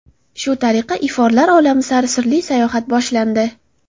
Shu tariqa iforlar olami sari sirli sayohat boshlandi.